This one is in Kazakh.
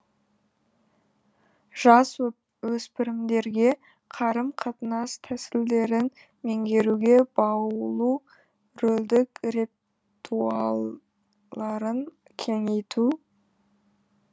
жасөспірімдерге қарым қатынас тәсілдерін меңгеруге баулу рөлдік ретуарларын кеңейту